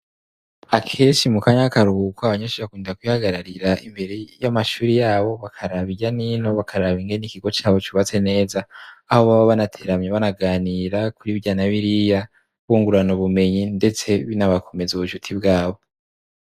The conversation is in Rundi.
akeshi mu kanyakakaruhuko abanyeshure bakunda kihagararira imbere y'amashuri yabo bakarabiyanino bakarabinge n'ikigo cyabo cyubatse neza aho baba banateramye banaganira kuribyanabiriya bungurana ubumenyi ndetse binabakomeza ubushuti bwabo